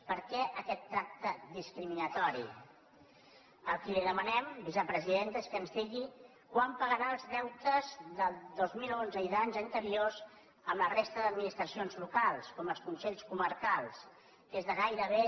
per què aquest tracte discriminatori el que li demanem vicepresidenta és que ens digui quan pagarà els deutes del dos mil onze i d’anys anteriors a la resta d’administracions locals com els consells co·marcals que és de gairebé